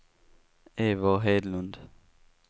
Eivor Hedlund